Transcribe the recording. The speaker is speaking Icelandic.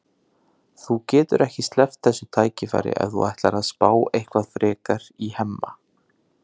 Þú getur ekki sleppt þessu tækifæri ef þú ætlar að spá eitthvað frekar í Hemma.